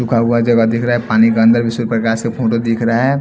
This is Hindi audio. जगह दिख रहा है पानी के अंदर विशु प्रकाश से फोटो दिख रहा है।